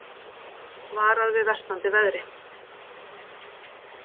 Varað við versnandi veðri